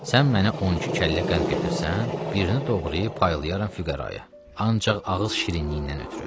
Sən mənə 12 kəllə qənd gətirsən, birini doğrayıb paylayaram füqəraya, ancaq ağız şirinliyindən ötrü.